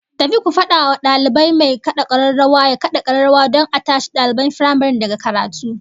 Tafi ku fada wa dalibai mai kad'a kararrawa ya kada kararrawa don a tashi daliban firamaren daga karatu